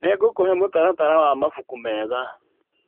Nĩngũkũhe mũtaratara wa mabuku mega.